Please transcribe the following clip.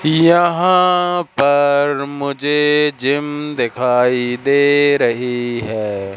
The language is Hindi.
यहां पर मुझे जिम दिखाई दे रही हैं।